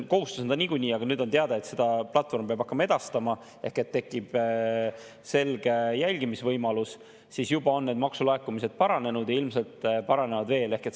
Kohustus on ta niikuinii, aga kuna nüüd on teada, et seda platvorm peab hakkama edastama ehk et tekib selge jälgimise võimalus, siis juba on need maksulaekumised paranenud ja ilmselt paranevad veel.